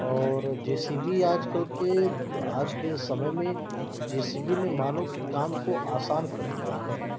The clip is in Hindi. और जेसीबी आजकल के आज के समय में जेसीबी ने मानव के काम को आसान कर दिया है।